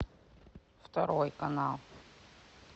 второй канал